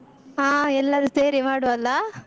ಹ ಎಲ್ಲರು ಸೇರಿ ಮಾಡುವ ಅಲ್ಲಾ?